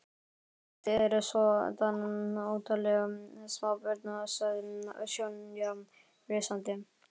Já, þið eruð svoddan óttaleg smábörn sagði Sonja flissandi.